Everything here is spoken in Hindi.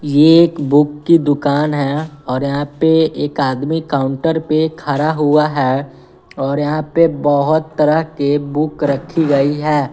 ये एक बुक की दुकान है और यहाँ पे एक आदमी काउंटर पे खारा हुआ है और यहाँ पे बहोत तरह के बुक रखी गई है।